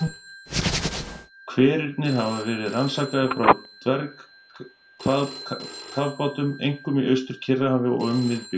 Hverirnir hafa verið rannsakaðir frá dvergkafbátum, einkum í Austur-Kyrrahafi og um miðbik